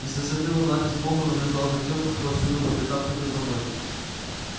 и с высоты луна безмолвно наблюдала за тем кто всюду по пятам ходил за мной